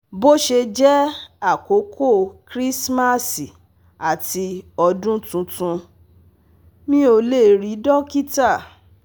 bo se je àkókò Krismasi àti odun Tuntun, mi o le ri dokita